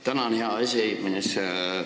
Tänan, hea aseesimees!